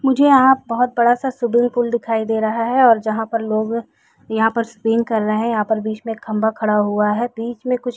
मुझे यहाँ बहुत बड़ा-सा स्विमिंग पूल दिखाई दे रहा है ओर जहाँ पर लोग यहाँ पर स्पिन कर रहे है यहाँ पर बीच में एक खम्बा खड़ा हुआ है बीच में कुछ--